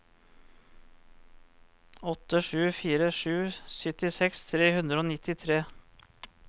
åtte sju fire sju syttiseks tre hundre og nittitre